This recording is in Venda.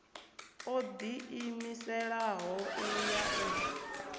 o ḓiimiselaho u ya u